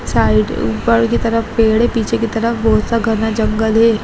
Side ऊपर की तरफ पेड़ है | पीछे की तफर बहुत सा घाना जंगल है।